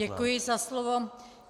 Děkuji za slovo.